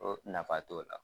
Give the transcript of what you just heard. o nafa t'o la.